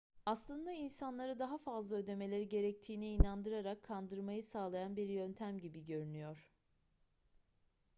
aslında insanları daha fazla ödemeleri gerektiğine inandırarak kandırmayı sağlayan bir yöntem gibi görünüyor